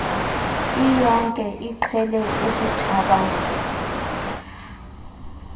iyonke iqhele ukuthabatha